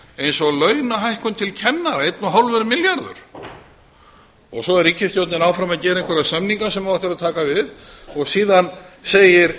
eins og launahækkun til kennara fimmtán milljarðar svo er ríkisstjórnin áfram að gera einhverja samninga sem á eftir að taka við og síðan segir